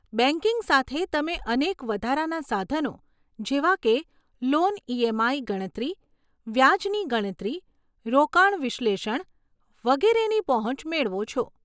banking સાથે, તમે અનેક વધારાના સાધનો, જેવા કે લોન ઈએમઆઈ ગણતરી, વ્યાજની ગણતરી, રોકાણ વિશ્લેષણ વગેરેની પહોંચ મેળવો છો